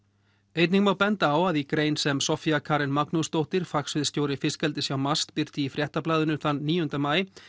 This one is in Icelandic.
einnig má benda á að í grein sem Soffía Karen Magnúsdóttir fiskeldis hjá MAST birti í Fréttablaðinu þann níunda maí